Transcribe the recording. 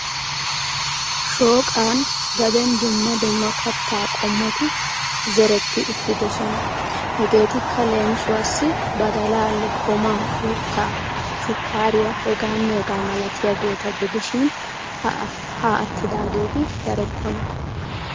Shooqan gaden dumma dumma katta qommoti zeretti uttidoosona. Hegetikka leemissuwassi badalaa lokkomaa, uuttaa, shukkariya hegamne hegaa malatiyaageeta gidishin ha aattidaageeti darokkona.